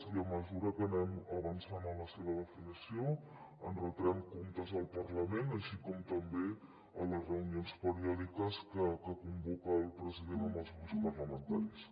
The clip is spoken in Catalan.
i a mesura que anem avançant en la seva definició en retrem comptes al parlament així com també en les reunions periòdiques que convoca el president amb els grups parlamentaris